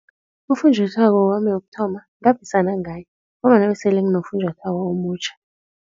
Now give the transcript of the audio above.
Ufunjathwako wami wokuthoma ngaphisana ngaye ngombana besele nginofunjathwako omutjha.